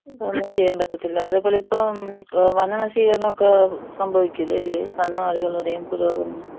ഒന്നും ചെയ്യാൻ പറ്റത്തില്ല. അതേപോലെ ഇപ്പോ വനനശീകരണം ഒക്കെ സംഭവിക്കൂലെ അല്ലെ? കന്നുകാലികളുടെയും പുരോഗമനം.